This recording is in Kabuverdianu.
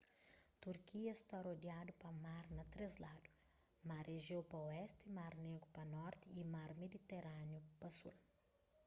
turkia sta rodiadu pa mar na três ladu mar ejéu pa oesti mar négru pa norti y mar mediterániu pa sul